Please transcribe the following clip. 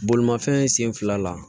Bolimafɛn sen fila la